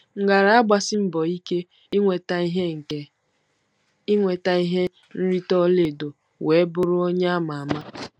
M gaara agbasi mbọ ike inweta ihe ike inweta ihe nrite ọla edo wee bụrụ onye a ma ama.